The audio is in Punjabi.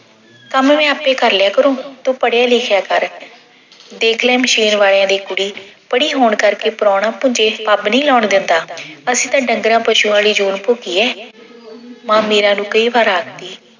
ਕੰਮ ਮੈਂ ਆਪੇ ਕਰ ਲਿਆ ਕਰੂੰ ਤੂੰ ਪੜਿਆ-ਲਿਖਿਆ ਕਰ। ਦੇਖ ਲੈ ਮਸ਼ੀਨ ਵਾਲਿਆ ਦੀ ਕੁੜੀ ਪੜੀ ਹੋਣ ਕਰਕੇ ਪਰਾਉਣਾ ਭੁੰਜੇ ਪੱਬ ਨਹੀਂ ਲਾਉਣ ਦਿੰਦਾ ਅਸੀਂ ਤਾਂ ਡੰਗਰਾਂ-ਪਸ਼ੂਆਂ ਵਾਲੀ ਜੂਨ ਭੋਗੀ ਐ ਮਾਂ ਮੀਰਾ ਨੂੰ ਕਈ ਵਾਰ ਆਖਦੀ